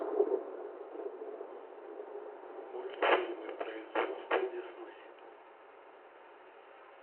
мультфильмы производства дисней